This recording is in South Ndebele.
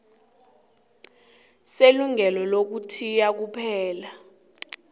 selungelo lokuthiya kuphela